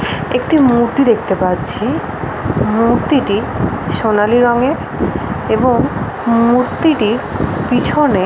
একটি মূর্তি দেখতে পাচ্ছি মূর্তিটি সোনালী রঙের এবং মূর্তিটির পিছনে--